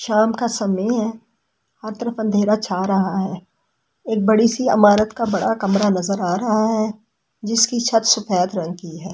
शाम का समय है और अंधेरा छा रहा है एक बड़ी सी इमारत का बड़ा कमरा नजर आ रहा है जिसकी छत सुबह होती है।